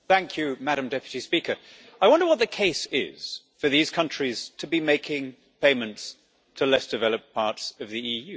Madam President, I wonder what the case is for these countries to be making payments to less developed parts of the EU.